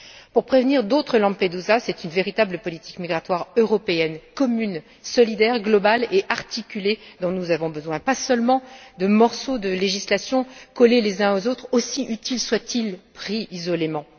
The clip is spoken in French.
Pour prévenir d'autres Lampedusa, c'est une véritable politique migratoire européenne, commune, solidaire, globale et articulée dont nous avons besoin, pas seulement de morceaux de législation collés les uns aux autres, aussi utiles soient ils pris isolément.